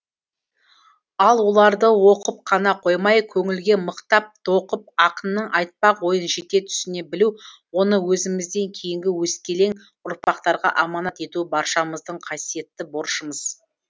ал оларды оқып қана қоймай көңілге мықтап тоқып ақынның айтпақ ойын жете түсіне білу оны өзімізден кейінгі өскелең ұрпақтарға аманат ету баршамыздың қасиетті борышымыз